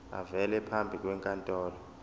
avele phambi kwenkantolo